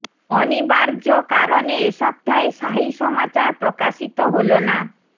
অনিবার্য কারণে এ সপ্তাহে শাহি সমাচার প্রকাশিত হল না